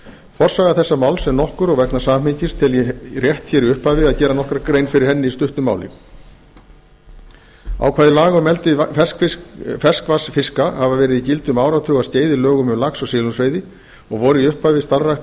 forsaga þessa máls er nokkur og vegna samhengis tel ég rétt hér í upphafi að gera nokkra grein fyrir henni í stuttu máli ákvæði laga um eldi ferskvatnsfiska hafa verið í gildi um áratugaskeið í lögum um lax og silungsveiði og voru í upphafi starfrækt